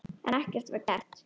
En ekkert var gert.